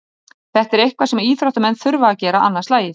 Þetta er eitthvað sem íþróttamenn þurfa að gera annað slagið.